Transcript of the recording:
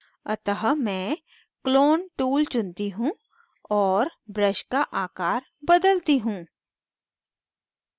अतः मैं clone tool चुनती हूँ और brush का आकर बदलती हूँ